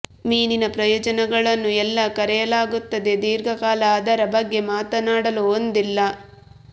ಮೀನಿನ ಪ್ರಯೋಜನಗಳನ್ನು ಎಲ್ಲಾ ಕರೆಯಲಾಗುತ್ತದೆ ದೀರ್ಘಕಾಲ ಅದರ ಬಗ್ಗೆ ಮಾತನಾಡಲು ಹೊಂದಿಲ್ಲ